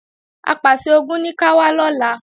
Apàṣẹ-Ogun ní ká wá lọ́la